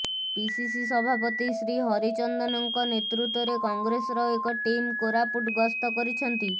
PCC ସଭାପତି ଶ୍ରୀ ହରିଚନ୍ଦନଙ୍କ ନେତୃତ୍ବରେ କଂଗ୍ରେସର ଏକ ଟିମ୍ କୋରାପୁଟ ଗସ୍ତ କରିଛନ୍ତି